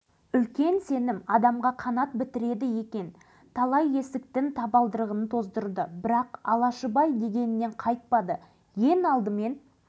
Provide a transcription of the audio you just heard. ақыры жоғары жақтағылардан ешқандай көмек болмасына көзі жеткен соң енді ішкі мүмкіндікті пайдаланып бір қаракет жасап көруге бекінді